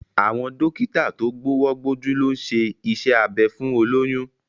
Àwọn dókítà tó gbówọ́ gbójú ló ń ṣe iṣẹ́ abẹ fún olóyún